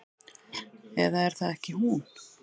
Eða er það ekki hún?